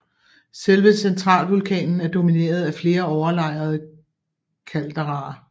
Selve centralvulkanen er domineret af flere overlejrede calderaer